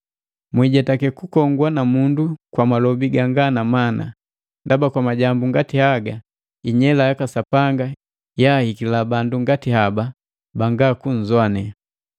Mwijetake kukongwa na mundu kwa malobi ganga na mana; ndaba kwa majambu ngati haga inyela yaka Sapanga yahikila bandu ngati haba banga kunzoane.